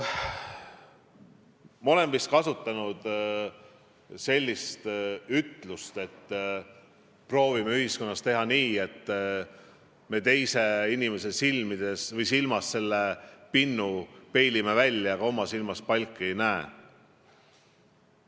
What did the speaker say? Ma olen vist enne ka öelnud, et meil paraku proovitakse teha nii, et teise inimese silmas selle pinnu peilime välja, aga oma silmas palki ei näe.